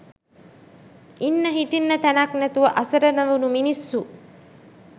ඉන්න හිටින්න තැනක් නැතුව අසරණ වුනු මිනිස්සු